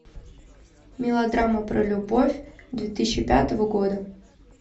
мелодрама про любовь две тысячи пятого года